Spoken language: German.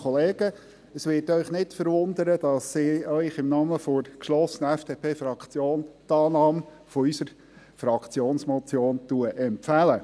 Es wird Sie nicht verwundern, dass ich Ihnen im Namen der geschlossenen FDP-Fraktion die Annahme unserer Fraktionsmotion empfehle.